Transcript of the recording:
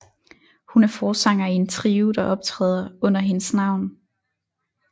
Hun er forsanger i en trio der optræder under hendes navn